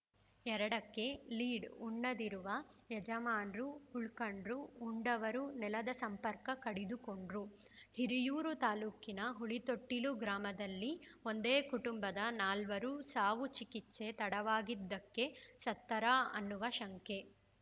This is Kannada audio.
ಎರಡಕ್ಕೆಲೀಡ್‌ ಉಣ್ಣದಿರುವ ಯಜಮಾನ್ರು ಉಳ್ಕಂಡ್ರು ಉಂಡವರು ನೆಲದ ಸಂಪರ್ಕ ಕಡಿದುಕೊಂಡ್ರು ಹಿರಿಯೂರು ತಾಲೂಕಿನ ಹುಲಿತೊಟ್ಟಿಲು ಗ್ರಾಮದಲ್ಲಿ ಒಂದೇ ಕುಟುಂಬದ ನಾಲ್ವರ ಸಾವು ಚಿಕಿತ್ಸೆ ತಡವಾಗಿದ್ದಕ್ಕೆ ಸತ್ತರಾ ಅನ್ನುವ ಶಂಕೆ